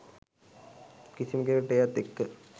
කිසිම කෙනෙක්ට එයත් එක්ක